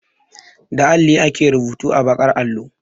Da alli ake rubutu a baƙar allo.